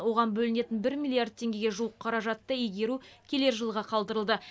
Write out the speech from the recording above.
оған бөлінетін бір миллиард теңгеге жуық қаражатты игеру келер жылға қалдырылды